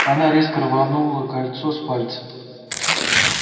она резко рванула кольцо с пальца